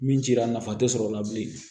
Min cira nafa te sɔrɔ o la bilen